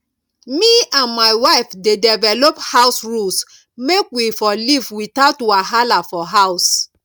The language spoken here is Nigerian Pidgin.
me and my wife dey develop house rules make we for live without wahala for house